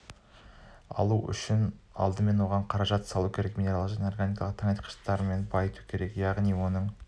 алу үшін алдымен оған қаражат салу керек минералдық және органикалық тыңайтқыштармен байыту керек яғни оның